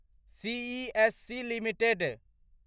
CESC limited